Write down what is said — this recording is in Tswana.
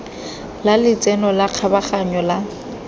la letseno la kgabaganyo la